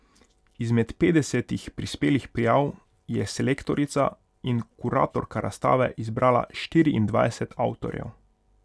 Izmed petdesetih prispelih prijav je selektorica in kuratorka razstave izbrala štiriindvajset avtorjev.